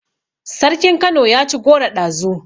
Sarkin kano yaci goro ɗazu